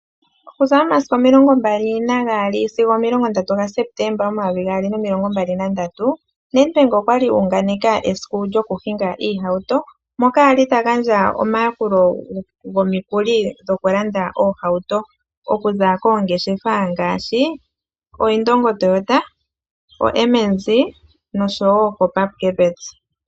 NedBank okwali a unganeke aayakulwa esiku lyo ku hinga oohauto, moka a li ta gandja omayakulo gomikuli dhokulanda oohauto, okuza koongeshefa ngaashi oIndongo Toyota, koM&Z, noshowo koPupkewitz.